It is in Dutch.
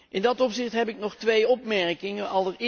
In dat opzicht heb ik nog twee opmerkingen.